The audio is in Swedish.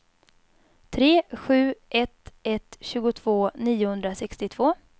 tre sju ett ett tjugotvå niohundrasextiotvå